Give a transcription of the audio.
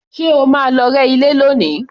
Ṣé o máa lọ rẹ́ ilé lónìí?